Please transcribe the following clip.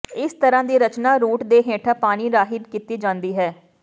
ਇਸ ਤਰ੍ਹਾਂ ਦੀ ਰਚਨਾ ਰੂਟ ਦੇ ਹੇਠਾਂ ਪਾਣੀ ਰਾਹੀਂ ਕੀਤੀ ਜਾਂਦੀ ਹੈ